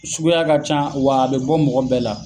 Sukuya ka ca wa a be bɔ mɔgɔ bɛɛ la.